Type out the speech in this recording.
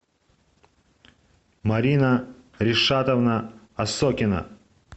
марина ришатовна осокина